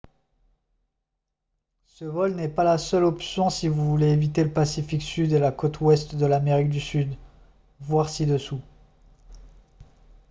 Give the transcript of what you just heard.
ce vol n’est pas la seule option si vous voulez éviter le pacifique sud et la côte ouest de l’amérique du sud. voir ci-dessous